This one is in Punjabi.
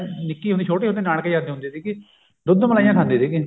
ਨਿੱਕੇ ਹੁੰਦੇ ਛੋਟੇ ਹੁੰਦੇ ਨਾਨਕੇ ਜਾਂਦੇ ਹੁੰਦੇ ਸੀਗੇ ਦੁੱਧ ਮਲਾਈਆਂ ਖਾਂਦੇ ਸੀਗੇ